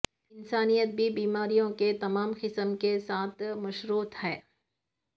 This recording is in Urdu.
انسانیت بھی بیماریوں کے تمام قسم کے ساتھ مشروط ہے